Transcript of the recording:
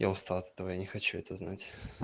я устал от этого я не хочу это знать